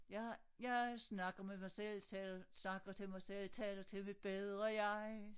Jeg jeg snakker med mig selv selv snakker til mig selv taler til mit bedre jeg